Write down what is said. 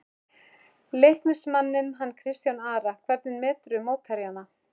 Leiknismanninn hann Kristján Ara Hvernig meturðu mótherjana?